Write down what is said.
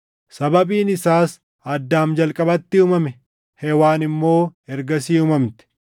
Sababiin isaas Addaam jalqabatti uumame; Hewaan immoo ergasii uumamte.